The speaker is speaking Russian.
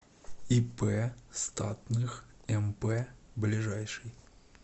ип статных мп ближайший